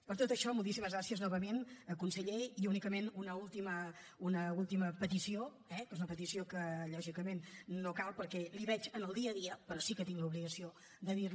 per tot això moltíssimes gràcies novament conseller i únicament una última petició eh que és una petició que lògicament no cal perquè la veig en el dia a dia però sí que tinc l’obligació de dir la hi